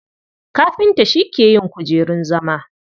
Kafinta shi ke yin kujerun zama.